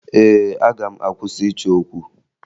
Ee, aga m akwụsị ịchọ okwu